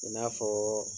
I n'a fɔ